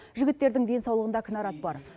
жігіттердің денсаулығында кінәрат бар